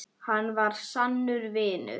Hann var sannur vinur.